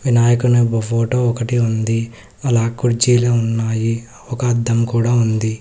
వినాయకుని ఫోటో ఒకటి ఉంది అలా కుర్చీలు ఉన్నాయి ఒక అద్దం కూడా ఉంది.